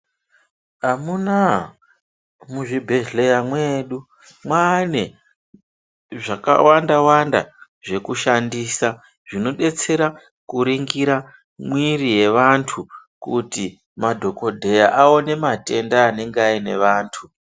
Amuna muzvibhedhleya mwedu mane zvakawanda-wanda zvekushandisa zvinobetsera kuringira mwiri yevantu. Kuti madhogodheya aone matenda anenge aine vantu.